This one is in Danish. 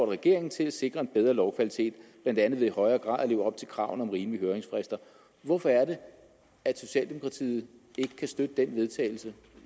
regeringen til at sikre bedre lovkvalitet blandt andet ved i højere grad at leve op til kravene om rimelige høringsfrister hvorfor er det at socialdemokratiet ikke kan støtte det forslag vedtagelse